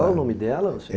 Qual o nome dela?